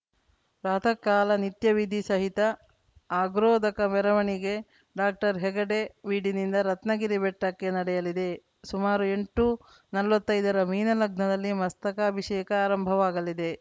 ಪ್ರಾತಃಕಾಲ ನಿತ್ಯವಿಧಿ ಸಹಿತ ಅಗ್ರೋದಕ ಮೆರವಣಿಗೆ ಡಾಕ್ಟರ್ಹೆಗ್ಗಡೆ ಬೀಡಿನಿಂದ ರತ್ನಗಿರಿ ಬೆಟ್ಟಕ್ಕೆ ನಡೆಯಲಿದೆ ಸುಮಾರು ಎಂಟುನಲ್ವತ್ತೈದರ ಮೀನ ಲಗ್ನದಲ್ಲಿ ಮಸ್ತಕಾಭಿಷೇಕ ಆರಂಭವಾಗಲಿದೆ